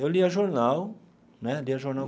Eu lia jornal né, lia jornal.